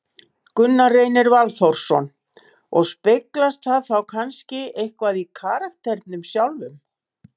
Gunnar Reynir Valþórsson: Og speglast það þá kannski eitthvað í karakternum sjálfum?